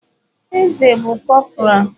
Eze bụ cọpora.